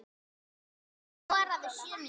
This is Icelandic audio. Viggó skoraði sjö mörk.